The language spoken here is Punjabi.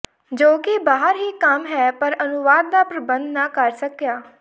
ਜੋ ਕਿ ਬਾਹਰ ਹੀ ਕੰਮ ਹੈ ਪਰ ਅਨੁਵਾਦ ਦਾ ਪ੍ਰਬੰਧ ਨਾ ਕਰ ਸਕਿਆ